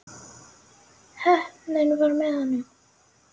Heppnin var með honum.